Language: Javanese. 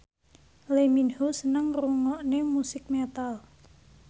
Lee Min Ho seneng ngrungokne musik metal